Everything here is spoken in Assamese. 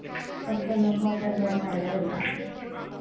পচন্দ এইবিলাক